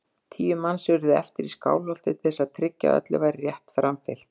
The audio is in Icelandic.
Tíu manns urðu eftir í Skálholti til þess að tryggja að öllu væri rétt framfylgt.